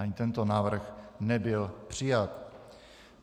Ani tento návrh nebyl přijat.